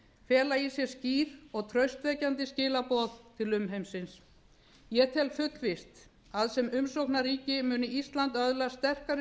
fela í sér skýr og traustvekjandi skilaboð til umheimsins ég tel fullvíst að sem umsóknarríki muni ísland öðlast sterkari